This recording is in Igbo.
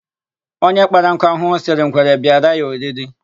Onye kpara nkụ ahụhụ, sịrị ngwere bịara ya oriri.